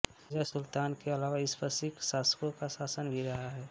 रजिया सुल्तान के अलावा इस पर सिक्ख शासकों का शासन भी रहा है